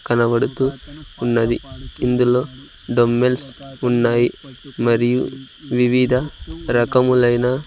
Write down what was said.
కనబడుతూ ఉన్నది ఇందులో డంబ్బెల్స్ ఉన్నాయి మరియు వివిధ రకములైన--